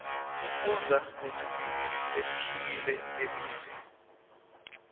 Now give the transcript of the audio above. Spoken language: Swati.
sifundza netilimi letihlukile telive